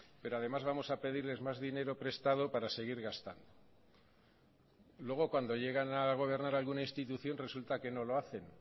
pero además vamos a pedirles más dinero prestado para seguir gastando luego cuando llegan a gobernar a alguna institución resulta que no lo hacen